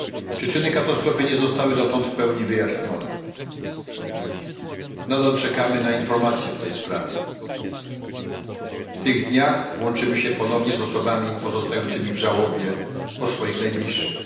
Przyczyny katastrofy nie zostały dotąd w pełni wyjaśnione, nadal czekamy na informacje w tej sprawie. W tych dniach łączymy się ponownie z osobami pozostającymi w żałobie po swoich najbliższych.